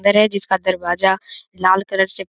इधर है जिसका दरवाजा लाल कलर से --